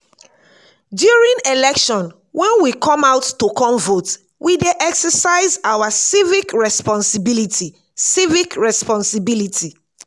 during election when we come out to come vote we dey exercise our civic responsibility civic responsibility